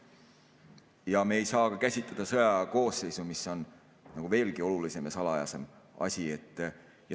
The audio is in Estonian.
Ja me ei saa käsitleda sõjakoosseisu, mis on veelgi olulisem ja salajasem asi.